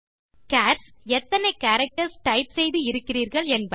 SARS - எத்தனை characters type செய்து இருக்கிறிர்கள் என்பது